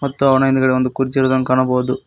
ಮತ್ತು ಅವನ ಹಿಂದ್ಗಡೆ ಒಂದು ಕುರ್ಚಿ ಇರುದನ್ನು ಕಾಣಬೋದು.